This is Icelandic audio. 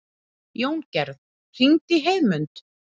Jóngerð, hringdu í Heiðmund.